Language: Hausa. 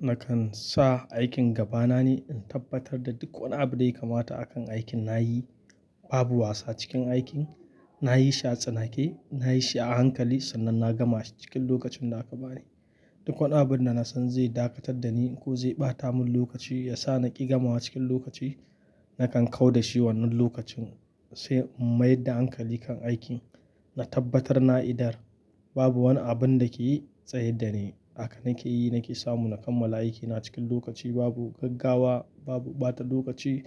Nakan sa aikin gaba na ne, in tabbatar da duk wani abu dai kamata akan aikin na yi. Babu wasa cikin aikin, na yi shi a tsanake, na yi shi a hankali sannan na gama shi cikin lokacin da aka bani. Duk wani abun da na san zai dakatar da ni ko zai ɓata mun lokaci, ya sa na ƙi gamawa cikin lokaci, nakan kau da shi wannan lokacin sai in mayar da hankali kan aikin. Na tabbatar na idar babu wani abun da ke tsaye da ni. Haka nake yi, nake samu na kammala aikina cikin lokaci. Babu gaggawa, babu ɓata lokaci.